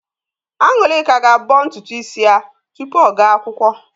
An̄ụlịka ga-abọ ntutu ísí ya tupu ọ gaa akwụkwọ.